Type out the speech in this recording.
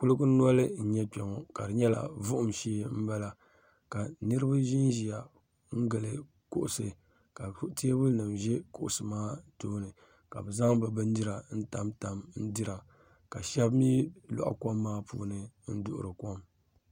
Kuliga noli n-nyɛ Kpɛŋɔ ka di nyɛla vuhim shee m-bala ka niriba ʒinʒiya gili kuɣusi ka teebulinima ʒe kuɣusi maa tooni ka bɛ zaŋ bɛ bindira n-tamtam n-dira ka shɛba mi lɔhi kom maa ni n-duɣiri kom.